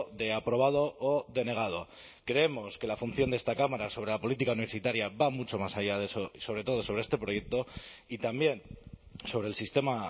de aprobado o denegado creemos que la función de esta cámara sobre la política universitaria va mucho más allá de eso y sobre todo sobre este proyecto y también sobre el sistema